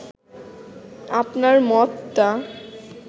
আপনার মতটা